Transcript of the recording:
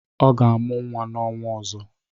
Ọ ga-amụ nwa n'ọnwa ọzọ.